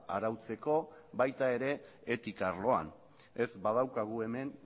arautzeko baita etika arloan ere ez badaukagu hemen